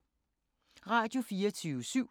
Radio24syv